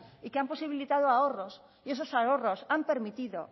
y que han posibilitado ahorros y esos ahorros han permitido